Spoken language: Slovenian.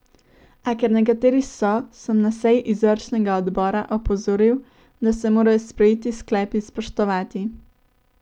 A ker nekateri so, sem na seji izvršnega odbora opozoril, da se morajo sprejeti sklepi spoštovati.